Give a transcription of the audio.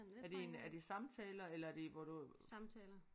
Er det en er det samtaler eller er det hvor du